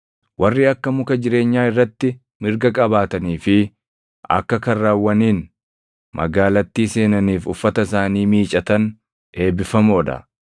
“Warri akka muka jireenyaa irratti mirga qabaatanii fi akka karrawwaniin magaalattii seenaniif uffata isaanii miicatan eebbifamoo dha.